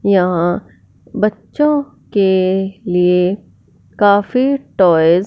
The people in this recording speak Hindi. यहां बच्चों के लिए काफी टॉयज --